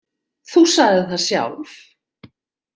Þú sagðir það sjálf.